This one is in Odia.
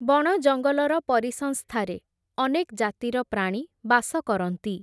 ବଣ ଜଙ୍ଗଲର ପରିସଂସ୍ଥାରେ, ଅନେକ୍ ଜାତିର ପ୍ରାଣୀ ବାସ କରନ୍ତି ।